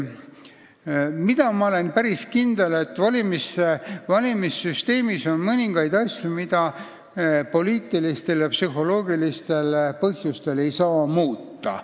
Ma olen päris kindel, et valimissüsteemis on mõningaid asju, mida poliitilistel ja psühholoogilistel põhjustel ei saa muuta.